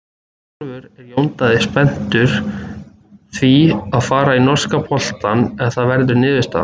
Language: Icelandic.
Sjálfur er Jón Daði spenntur því að fara í norska boltann ef það verður niðurstaðan.